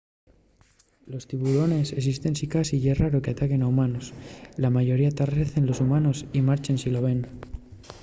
los tiburones esisten sicasí ye raro qu’ataquen a humanos. la mayoría tarrecen los humanos y marchen si los ven